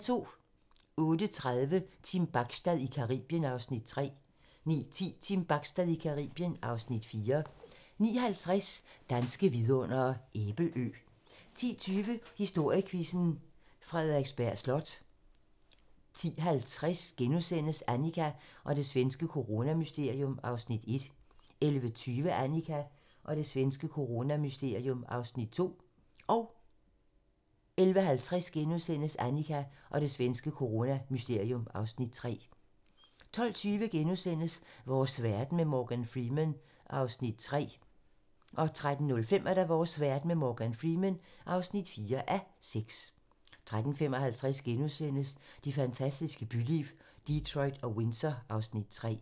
08:30: Team Bachstad i Caribien (Afs. 3) 09:10: Team Bachstad i Caribien (Afs. 4) 09:50: Danske vidundere: Æbelø 10:20: Historiequizzen: Frederiksberg Slot 10:50: Annika og det svenske coronamysterium (Afs. 1)* 11:20: Annika og det svenske coronamysterium (Afs. 2)* 11:50: Annika og det svenske coronamysterium (Afs. 3)* 12:20: Vores verden med Morgan Freeman (3:6)* 13:05: Vores verden med Morgan Freeman (4:6) 13:55: Det fantastiske byliv - Detroit og Windsor (Afs. 3)*